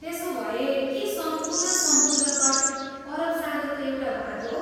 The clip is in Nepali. त्यसोभए, के सम्पूर्ण समुद्र तट अरब सागरको एउटा भाग हो?